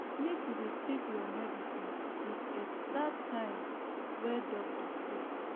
make you dey take your medicine the exact time wey doctor say